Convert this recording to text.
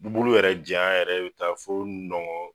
Bulu yɛrɛ janya yɛrɛ bi taa fɔ nɔngɔn